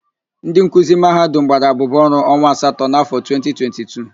Ndị nkuzi Mahadum gbara abụbụ ọrụ onwa asatọ n'afọ 2022.